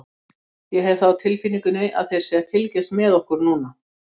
Ég hef það á tilfinningunni þeir séu að fylgjast með okkur núna.